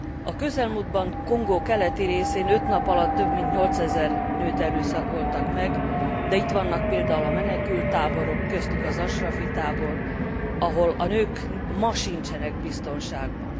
A közelmúltban Kongó keleti részén öt nap alatt több mint 8000 nőt erőszakoltak meg, de itt vannak például a menekülttáborok, köztük az ashrafi tábor, ahol a nők ma sincsenek biztonságban.